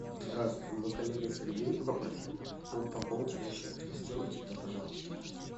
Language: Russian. здравствуй мой коллега сергей попросил пополнить ему счет сделайте это пожалуйста